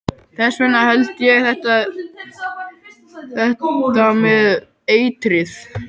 Þess vegna held ég þetta með eitrið.